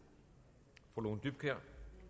og